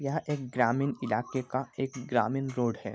यहां एक ग्रामीण इलाके का ग्रामीण रोड है।